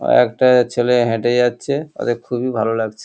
আ একটা ছেলে হেঁটে যাচ্ছে ওদের খুবই ভালো লাগছে।